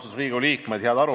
Austatud Riigikogu liikmed!